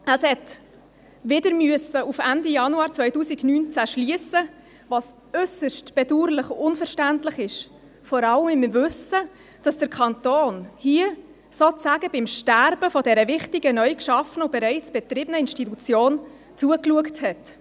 Auf Ende Januar 2019 musste es wieder schliessen, was äusserst bedauerlich und unverständlich ist, vor allem im Wissen darum, dass der Kanton hier sozusagen beim Sterben dieser wichtigen neugeschaffenen und bereits betriebenen Institution zugeschaut hat.